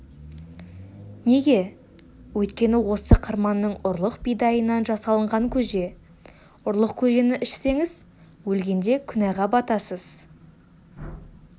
неге өйткені осы қырманның ұрлық бидайынан жасалынған көже ұрлық көжені ішсеңіз өлгенде күнәға батасыз